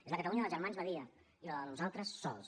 és la catalunya dels germans badia i la del nosaltres sols